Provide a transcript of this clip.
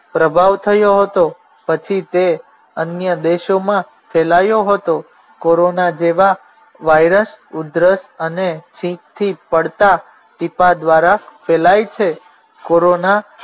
પ્રભાવ થયો હતો પછી તે અન્ય દેશોમાં ફેલાયો હતો કોરોના જેવા વાઇરસ ઉધરસ અને છિંકથી પડતા ટીપા દ્વારા ફેલાય છે કોરોના